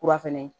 Kura fɛnɛ